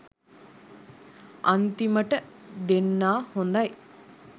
අන්තිමට දෙන්නා හොදයි